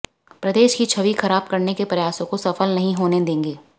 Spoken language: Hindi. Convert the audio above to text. प्रदेश की छवि खराब करने के प्रयासों को सफल नहीं होने देंगे